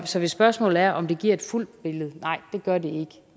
så hvis spørgsmålet er om det giver et fuldt billede er nej det gør det ikke